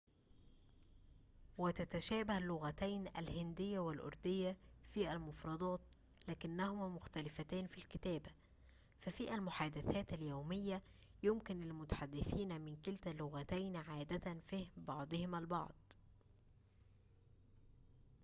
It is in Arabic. وتتشابه اللغتين الهندية والأردية في المفردات لكنهما مختلفتان في الكتابة ففي المحادثات اليومية يمكن للمتحدثين من كلتا اللغتين عادةً فهم بعضهم البعض